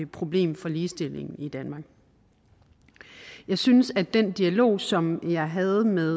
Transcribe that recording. problem for ligestillingen i danmark jeg synes at den dialog som jeg havde med